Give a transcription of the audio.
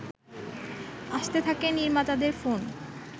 আসতে থাকে নির্মাতাদের ফোন